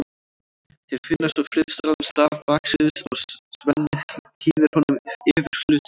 Þeir finna sér friðsælan stað baksviðs og Svenni hlýðir honum yfir hlutverkið.